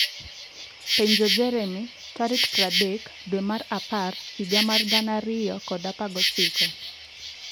penjo Jeremy tarik 30 dwe mar apar higa mar 2019.